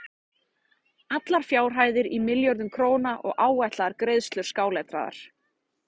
Allar fjárhæðir í milljörðum króna og áætlaðar greiðslur skáletraðar.